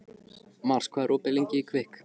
Mars, hvað er opið lengi í Kvikk?